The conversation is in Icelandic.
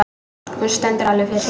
Hún stendur alveg fyrir sínu.